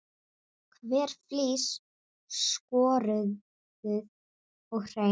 Hver flís skorðuð og hrein.